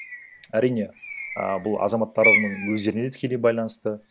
әрине а бұл азаматтарының өздеріне де тікелей байланысты